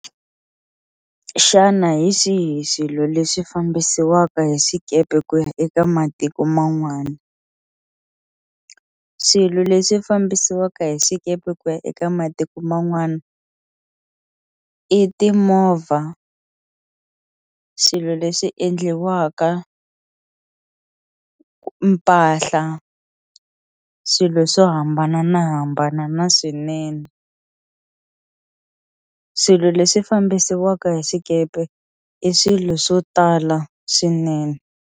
Xana hi swihi swilo leswi fambisiwaka hi swikepe ku ya eka matiko man'wana swilo leswi fambisiwaka hi swikepe ku ya eka matiko man'wana i timovha swilo leswi endliwaka mpahla swilo swo hambanahambana na swinene swilo leswi fambisiwaka hi swikepe i swilo swo tala swinene.